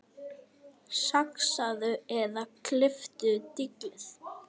Saxaðu eða klipptu dillið.